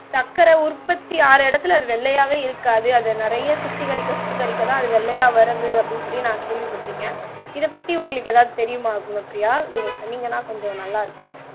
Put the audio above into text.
சக்கர உற்பத்தி ஆகிற இடத்தில அது வெள்ளையாகவே இருக்காது அதை நிறைய சுத்திகரிக்க சுத்திகரிக்க தான் அது வெள்ளையாக வறுது அப்படின்னு சொல்லி நான் கேள்விப்பட்டிருக்கேன் இத பத்தி உங்களுக்கு ஏதாவது தெரியுமா உனக்குரிய நீங்க சொல்லிங்கன்னாகொஞ்சம் நல்லா இருக்கும்